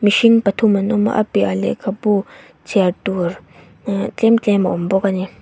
hring pathum an awm a a piahah lehkhabu chhiar tur eh tlem tlem a awm bawk ani.